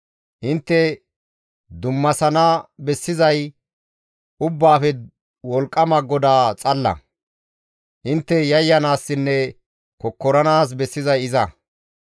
Intte dummasana bessizay Ubbaafe Wolqqama GODAA xalla; intte yayyanaassinne kokkoranaas bessizay iza.